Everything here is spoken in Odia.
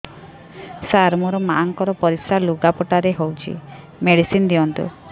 ସାର ମୋର ମାଆଙ୍କର ପରିସ୍ରା ଲୁଗାପଟା ରେ ହଉଚି ମେଡିସିନ ଦିଅନ୍ତୁ